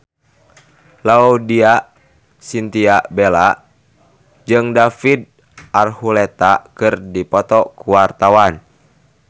Laudya Chintya Bella jeung David Archuletta keur dipoto ku wartawan